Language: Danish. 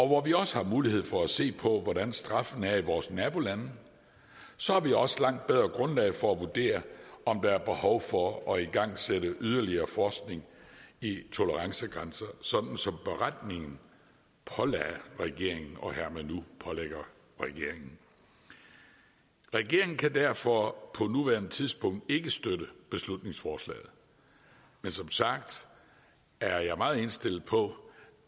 hvor vi også har mulighed for at se på hvordan straffene er i vores nabolande så har vi også et langt bedre grundlag for at vurdere om der er behov for at igangsætte yderligere forskning i tolerancegrænser sådan som beretningen pålagde regeringen og hermed nu pålægger regeringen regeringen kan derfor på nuværende tidspunkt ikke støtte beslutningsforslaget men som sagt er jeg meget indstillet på